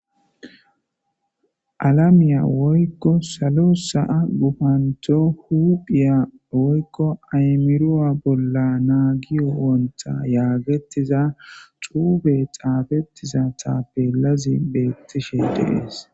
alamiya woykko salo sa7a gufanto huphiya woykko aymiruwa bolla naagiyo wonta yaagetiza xuube xaafettiza taappelazi beettishe dees